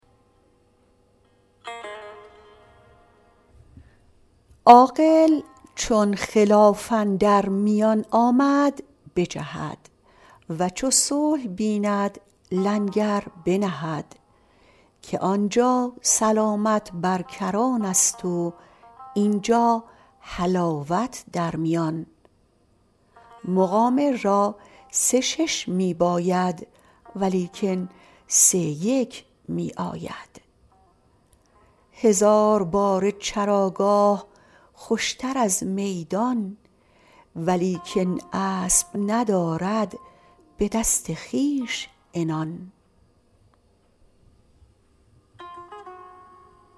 عاقل چون خلاف اندر میان آمد بجهد و چو صلح بیند لنگر بنهد که آنجا سلامت بر کران است و اینجا حلاوت در میان مقامر را سه شش می باید ولیکن سه یک می آید هزار باره چراگاه خوشتر از میدان ولیکن اسب ندارد به دست خویش عنان